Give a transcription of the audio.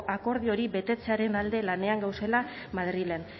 akordio hori betetzearen alde lanean gagozela madrilen